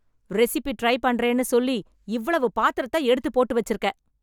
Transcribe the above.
recipe try பண்றேன்னு சொல்லி இவ்வளவு பாத்திரத்த எடுத்து போட்டு வச்சிருக்க